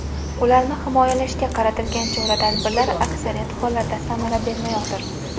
Ularni himoyalashga qaratilgan chora-tadbirlar aksariyat hollarda samara bermayotir.